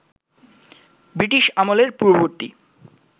British আমলের পূর্ববর্তী